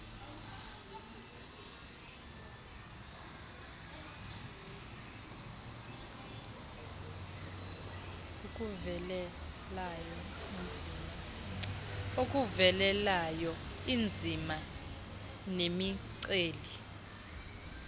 akuvelelayo iinzima nemiceli